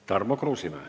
Tarmo Kruusimäe.